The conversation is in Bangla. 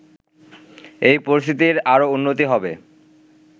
এ পরিস্থিতির আরও উন্নতি হবে